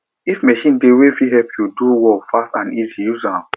if machine dey wey fit help you do work fast and easy use am